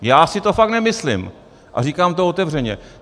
Já si to fakt nemyslím a říkám to otevřeně.